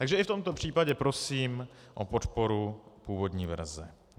Takže i v tomto případě prosím o podporu původní verze.